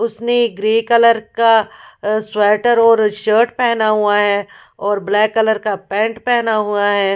उसने grey colour का sweater और शर्ट पहना हुआ है और ब्लैक कलर का पैंट पहना हुआ है।